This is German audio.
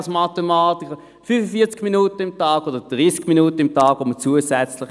Man vergütet zusätzlich entweder 45 Minuten oder 30 Minuten täglich.